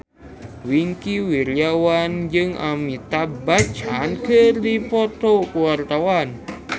Wingky Wiryawan jeung Amitabh Bachchan keur dipoto ku wartawan